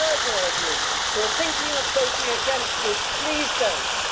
I urge all of you who are thinking of voting against this, please do not.